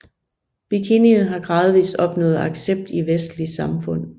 Bikinien har gradvist opnået accept i vestlige samfund